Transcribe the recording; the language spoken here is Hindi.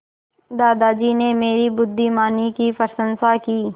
दादाजी ने मेरी बुद्धिमानी की प्रशंसा की